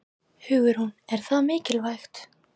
Hugrún: Er það mikilvægt?